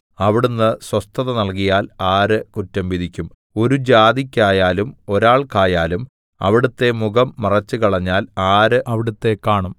അവിടുന്ന് സ്വസ്ഥത നൽകിയാൽ ആര് കുറ്റം വിധിക്കും ഒരു ജാതിക്കായാലും ഒരാൾക്കായാലും അവിടുത്തെ മുഖം മറച്ചുകളഞ്ഞാൽ ആര് അവിടുത്തെ കാണും